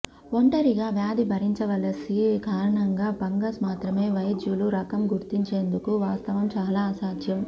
ఒంటరిగా వ్యాధి భరించవలసి కారణంగా ఫంగస్ మాత్రమే వైద్యులు రకం గుర్తించేందుకు వాస్తవం చాలా అసాధ్యం